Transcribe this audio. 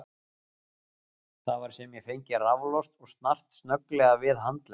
Það var sem ég fengi raflost og snart snögglega við handlegg